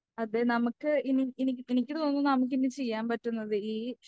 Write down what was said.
അതേ നമുക്ക് ഇനി ഇനി എനിക്ക് തോന്നുന്നു നമുക്കിനി ചെയ്യാൻ പറ്റുന്നത് ഈ